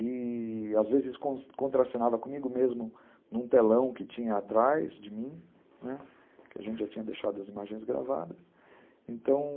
E, às vezes, contracenava comigo mesmo num telão que tinha atrás de mim, né, que a gente já tinha deixado as imagens gravadas, então